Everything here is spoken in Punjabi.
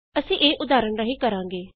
ਅਸੀਂ ਇਹ ਉਦਾਹਰਣ ਰਾਹੀਂ ਕਰਾਂਗੇ